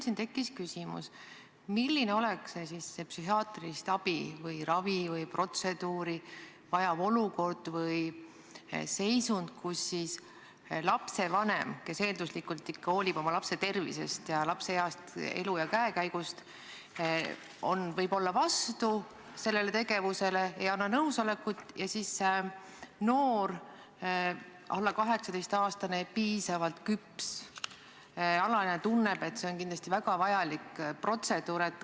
Minul tekkis küsimus, milline oleks see psühhiaatrilist abi, ravi või protseduuri vajav olukord või seisund, mille korral lapsevanem, kes eelduslikult ikka hoolib oma lapse tervisest ja tema heast elu- ja käekäigust, on võib-olla sellele tegevusele vastu ega anna nõusolekut, aga see noor, alla 18-aastane piisavalt küps alaealine tunneb, et tegemist on kindlasti väga vajaliku protseduuriga.